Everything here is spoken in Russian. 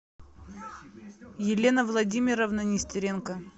елена владимировна нестеренко